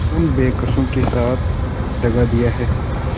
उन बेकसों के साथ दगा दिया है